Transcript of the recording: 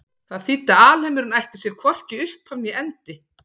Það þýddi að alheimurinn ætti sér hvorki upphaf né endi.